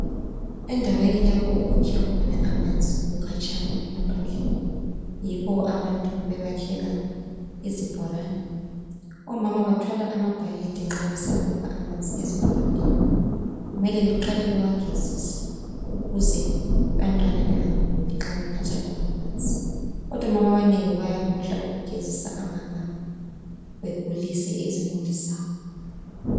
Endaweni lapho okukhiwa khona amanzi kukhatshana emaphandleni. Yikho abantu bebakhela izibholane. Omama bathwala amabhakede nxa besiyakukha amanzi ezibholaneni. Kumele beqale bewagezise ukuze abantwana bengaguli nxa benatha lawa manzi. Kodwa omama abanengi bayakhohlwa ukugezisa lawa magabha bagulise izimuli zabo.